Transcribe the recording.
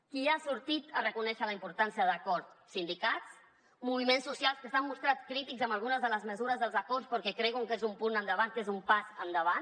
qui ha sortit a reconèixer la importància de l’acord sindicats moviments socials que s’han mostrat crítics amb algunes de les mesures dels acords però que creuen que és un punt endavant que és un pas endavant